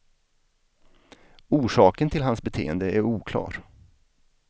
Orsaken till hans beteende är oklar.